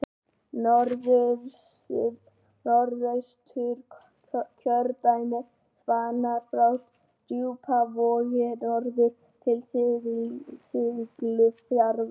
Norðausturkjördæmi spannar frá Djúpavogi norður til Siglufjarðar.